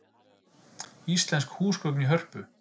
Íslensk húsgögn í Hörpu